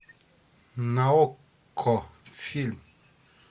на окко фильм